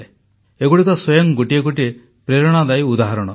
ଏଗୁଡ଼ିକ ସ୍ୱୟଂ ଗୋଟିଏ ଗୋଟିଏ ପ୍ରେରଣାଦାୟୀ ଉଦାହରଣ